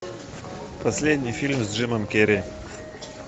последний фильм с джимом керри